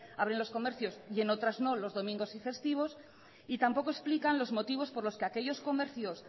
abren los comercios y en otras no los domingos y festivos y tampoco explican los motivos por los que aquellos comercios